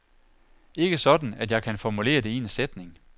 Ikke sådan, at jeg kan formulere det i en sætning.